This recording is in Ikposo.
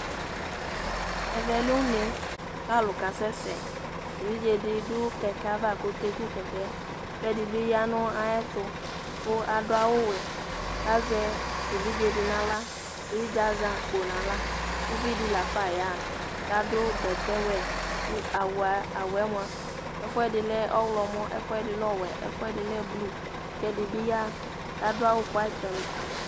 Ɛvɛ lɛ une k'alʋ kasɛsɛ, evidze di dʋ kɛkɛ ava k'ɔkeku kɛkɛ, k'ɛdi bi ya nʋ ayɛtʋ, kʋ adʋ awʋ vɛ, k'azɛ evidze di n'aɣla, evidze azɛ akpo n'aɣla, uvi di lafa ya ha, k'adʋ bɛtɛ wɛ, kʋ awʋ yɛ mua, ɛfʋɛdi lɛ ɔɣlɔmɔ, ɛfʋɛdi lɛ ɔwɛ, ɛfʋɛdi lɛ blue, k'ɛd bi ya k'adʋ awʋ black and